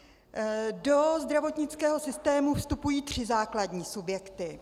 Do zdravotnického systému vstupují tři základní subjekty.